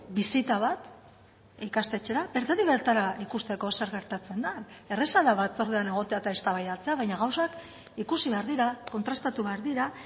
bisita bat ikastetxera bertatik bertara ikusteko zer gertatzen den erraza da batzordean egotea eta eztabaidatzea baina gauzak ikusi behar dira kontrastatu behar dira